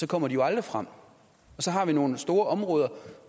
så kommer de jo aldrig frem og så har vi nogle store områder